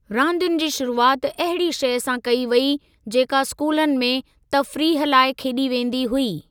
रांदियुनि जी शुरूआति अहिड़ी शइ सां कई वेई जेका स्कूलनि में तफ़रीह लाइ खेॾी वेंदी हुई।